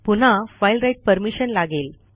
पुन्हा file write permission लागेल